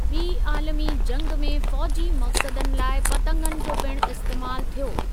ॿी आलमी जंगि में फ़ौजी मक़सदनि लाइ पतंगनि जो पिणु इस्तेमाल थियो।